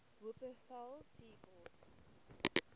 wupperthal tea court